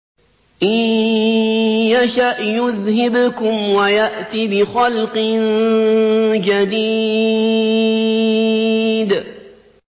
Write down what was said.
إِن يَشَأْ يُذْهِبْكُمْ وَيَأْتِ بِخَلْقٍ جَدِيدٍ